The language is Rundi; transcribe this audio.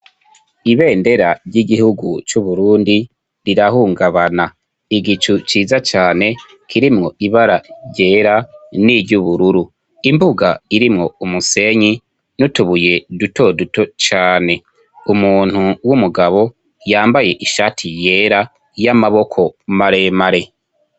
ibendera ry'igihugu cy'uburundi rirahungabana igicu ciza cane kirimwo ibara ryera n'iry'ubururu imbuga irimwo umusenyi n'utubuye duto duto cane umuntu w'umugabo yambaye ishati yera y'amaboko maremare